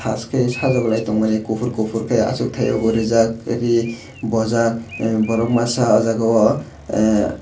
thas khe sajuklai tongmani kuphur kuphur khe achukthaio bo rijak ree bojak borok masa oh jagao.